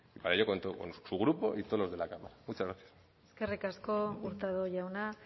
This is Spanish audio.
para ello cuento con su grupo y todos los de la cámara muchas gracias eskerrik asko hurtado jauna